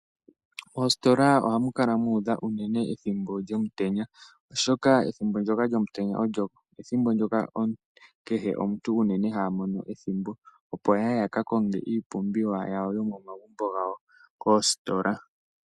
Moositola oha mu kala muudha unene ethimbo lyomutenya, oshoka ethimbo ndyoka lyomutenta olyo ethimbo ndyoka kehe omuntu unene hamono ethimbo, opo ya ye ya kakonge iipumbiwa yomo magumbo gawo koositola.